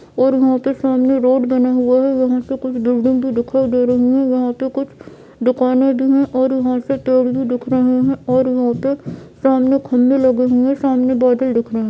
और यहां पे सामने रोड बना हुआ है यहां से कुछ बिल्डिंग भी दिखाई दे रही है यहां पे कुछ दुकानें भी है और यहां से पेड़ भी दिख रहे है और यहां पे सामने खंभे लगे हुए सामने बॉटल दिख रही --